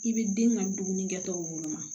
I bɛ den ka dumunikɛtɔ woloma